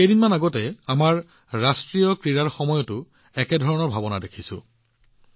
কেইদিনমান আগতে আমাৰ ৰাষ্ট্ৰীয় ক্ৰীড়াৰ সময়তো একেই অনুভূতি দেখা গৈছে